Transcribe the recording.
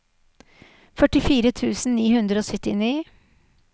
førtifire tusen ni hundre og syttini